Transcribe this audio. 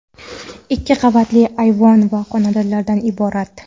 ikki qavatli ayvon va xonalardan iborat.